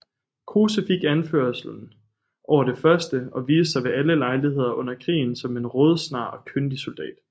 Kruse fik anførselen over det første og viste sig ved alle lejligheder under krigen som en rådsnar og kyndig soldat